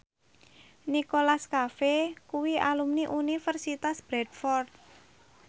Nicholas Cafe kuwi alumni Universitas Bradford